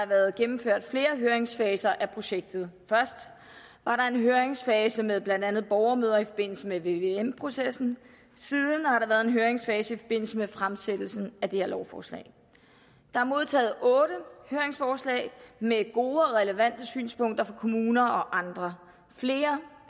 været gennemført flere høringsfaser i projektet først var der en høringsfase med blandt andet borgermøder i forbindelse med vvm processen siden har der været en høringsfase i forbindelse med fremsættelsen af det her lovforslag der er modtaget otte høringsforslag med gode og relevante synspunkter fra kommuner og andre flere